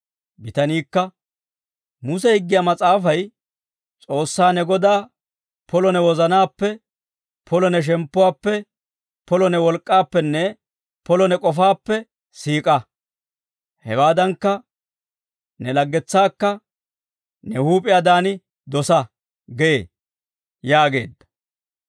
Bitaniikka, «Muse higgiyaa mas'aafay, ‹S'oossaa ne Godaa polo ne wozanaappe, polo ne shemppuwaappe, polo ne wolk'k'aappenne polo ne k'ofaappe siik'a; hewaadankka ne laggetsaakka ne huup'iyaadan dosa› gee» yaageedda.